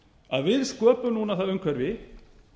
að við sköpum núna það umhverfi